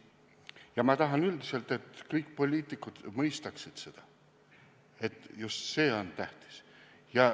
Ja ma tahan üldiselt, et kõik poliitikud mõistaksid seda, et just see on tähtis.